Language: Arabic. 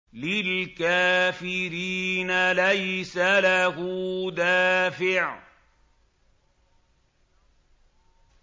لِّلْكَافِرِينَ لَيْسَ لَهُ دَافِعٌ